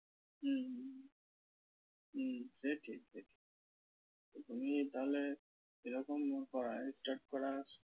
হম হম সে ঠিক সে ঠিক। তুমি তাহলে এরকম করা start করা